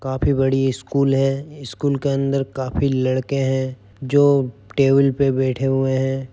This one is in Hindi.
काफी बड़ी स्कूल है| स्कूल के अंदर काफी लड़के हैं जो टेबल पर बैठे हुए है।